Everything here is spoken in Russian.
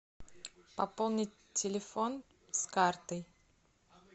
пополнить телефон с карты